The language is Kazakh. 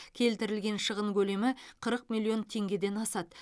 келтірілген шығын көлемі қырық миллион теңгеден асады